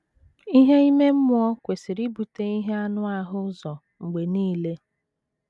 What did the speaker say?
Ihe ime mmụọ kwesịrị ibute ihe anụ ahụ ụzọ mgbe nile.